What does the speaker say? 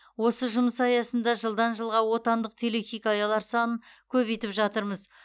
осы жұмыс аясында жылдан жылға отандық телехикаялар санын көбейтіп жатырмыз